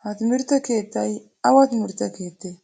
Ha timrtte keettay awa timirtte keettee?